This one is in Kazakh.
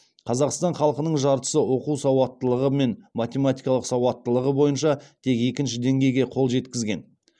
қазақстан халқының жартысы оқу сауаттылығы мен математикалық сауаттылығы бойынша тек екінші деңгейге қол жеткізген